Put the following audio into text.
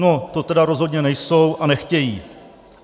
No, to tedy rozhodně nejsou a nechtějí.